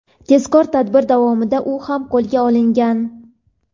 tezkor tadbir davomida u ham qo‘lga olingan.